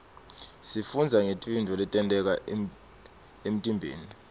sifundza ngetintfo letenteka emtimbeni